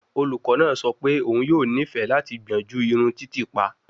Olukọ naa sọ pe oun yoo nifẹ lati gbiyanju irun titiipa